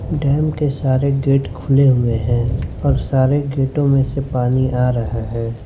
Dam के सारे gate खुले हुए हैं और सारे गेटों में से पानी आ रहा है।